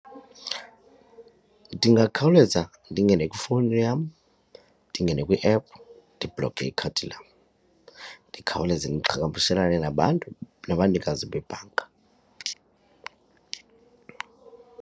Ndingakhawuleza ndingene kwifowuni yam, ndingene kwiephu ndibhloke ikhadi lam. Ndikhawuleze ndiqhagamshelane nabantu, nabanikazi bebhanka.